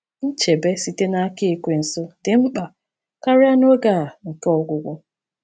Nchebe site n’aka Ekwensu dị mkpa karịa n’oge a nke ọgwụgwụ.